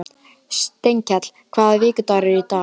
Steinkell, hvaða vikudagur er í dag?